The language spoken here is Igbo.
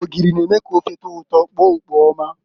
Ogiri na-eme ka ofe tọọ ụtọ kpoo ukpo ọma.